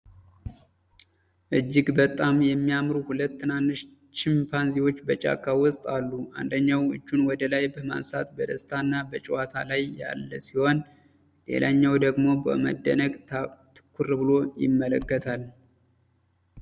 እጅግ በጣም የሚያምሩ ሁለት ትናንሽ ቺምፓንዚዎች በጫካ ውስጥ አሉ። አንደኛው እጁን ወደ ላይ በማንሳት በደስታና በጨዋታ ላይ ያለ ሲሆን፣ ሌላኛው ደግሞ በመደነቅ ትኩር ብሎ ይመለከታል።